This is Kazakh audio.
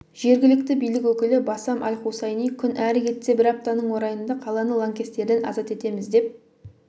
жергілікті билік өкілі басам аль-хусайни күн әрі кетсе бір аптаның орайында қаланы лаңкестерден азат етеміз деп